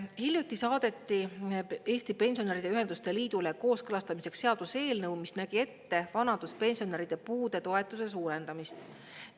Hiljuti saadeti Eesti Pensionäride Ühenduste Liidule kooskõlastamiseks seaduseelnõu, mis nägi ette vanaduspensionäride puudetoetuse suurendamist.